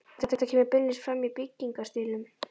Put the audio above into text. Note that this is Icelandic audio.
Þetta kemur beinlínis fram í byggingarstílnum.